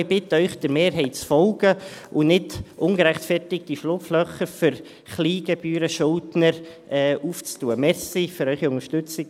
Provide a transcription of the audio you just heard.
Wir bitten Sie, der Mehrheit zu folgen und nicht ungerechtfertigte Schlupflöcher für Kleingebührenschuldner aufzutun.